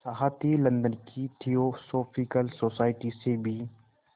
साथ ही लंदन की थियोसॉफिकल सोसाइटी से भी